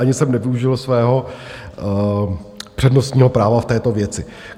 Ani jsem nevyužil svého přednostního práva v této věci.